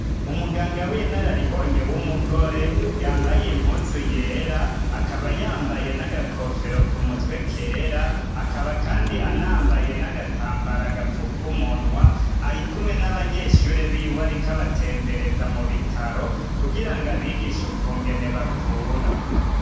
Umuganga w'inararibonye w'umugore yambaye impuzu yera akaba yambaye n'agakofero ku mutwe kera akaba kandi anambaye n'agatambara gapfuka ku munwa ari kumwe n'abanyeshure biwe ariko abatembereza mu bitaro kugira ngo abigishe ukungene bavura